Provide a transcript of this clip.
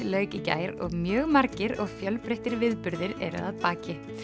lauk í gær og mjög margir og fjölbreyttir viðburðir eru að baki